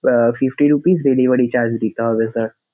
আহ fifty rupees delivery charge দিতে হবে sir